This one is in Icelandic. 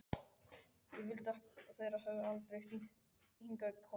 Ég vildi þeir hefðu aldrei hingað komið.